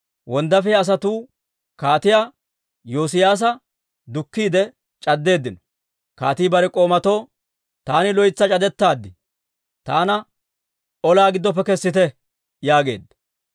Wonddaafiyaa asatuu Kaatiyaa Yoosiyaasa dukkiide c'addeeddino. Kaatii bare k'oomatoo, «Taani loytsi c'adettaad; taana olaa giddoppe kessite» yaageedda.